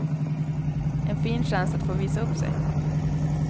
En fin chans att få visa upp sig.